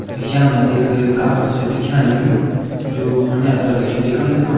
यामा एक काखड़ छ दिखेण लग्युं जो फुने तरफ छ देखण लग्युं।